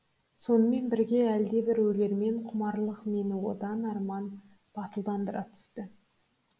сонымен бірге әлде бір өлермен құмарлық мені одан арман батылдандыра түсті